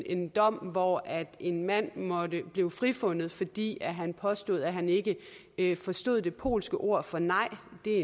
en dom hvor en mand blev frifundet fordi han påstod han ikke ikke forstod det polske ord for nej det er